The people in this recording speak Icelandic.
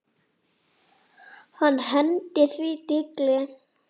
Hann hendir því tígli.